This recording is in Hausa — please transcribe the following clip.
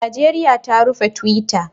Najeriya ta rufe twitter